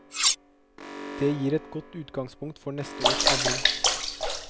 Det gir et godt utgangspunkt for neste års avling.